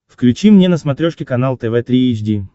включи мне на смотрешке канал тв три эйч ди